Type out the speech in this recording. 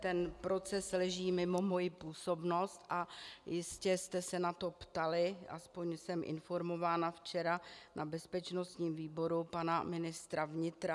Ten proces leží mimo moji působnost a jistě jste se na to ptali, aspoň jsem informována, včera na bezpečnostním výboru pana ministra vnitra.